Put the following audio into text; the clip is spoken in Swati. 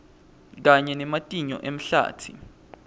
kanye nematinyo emahlatsi